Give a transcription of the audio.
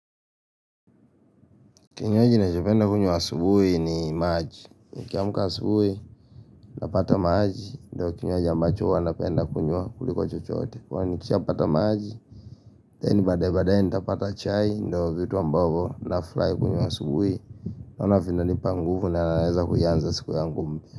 Kinywaji nachopenda kunywa asubuhi ni maji. Nikiamka asubuhi napata maji ndio kinywaji ambacho huwa napenda kunywa kuliko chochoote. Kwani nikishapata maji, then baadaye baadaye nitapata chai ndio vitu ambavyo nafurahi kunywa asubuhi maana vinanipa nguvu na naweza kuianza siku yangu mpya.